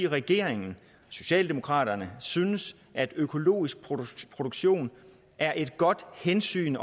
regeringen socialdemokraterne synes at økologisk produktion er et godt hensyn